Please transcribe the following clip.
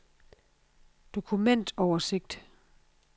dokumentoversigt